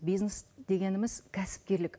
бизнес дегеніміз кәсіпкерлік